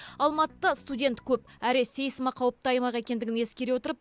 алматыда студент көп әрі сейсма қауіпті аймақ екендігін ескере отырып